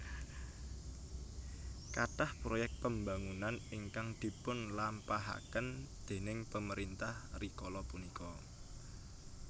Kathah proyek pembangunan ingkang dipun lampahaken déning pemerintah rikala punika